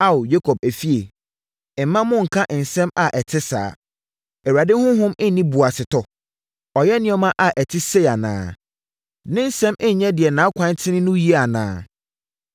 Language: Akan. Ao, Yakob efie, mma monnka nsɛm a ɛte saa. Awurade Honhom nni boasetɔ? Ɔyɛ nneɛma a ɛte sei anaa? “Ne nsɛm nyɛ deɛ nʼakwan tene no yie anaa?